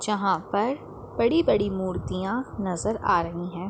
जहाँ पर बड़ी-बड़ी मूर्तियां नज़र आ रही हैं।